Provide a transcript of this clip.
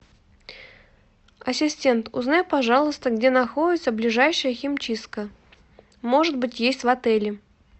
ассистент узнай пожалуйста где находится ближайшая химчистка может быть есть в отеле